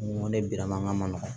N ko ne bi mankan man nɔgɔ